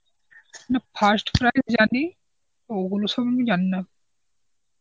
না first prize জানি, ওগুলো সব আমি জানিনা.